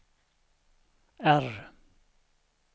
R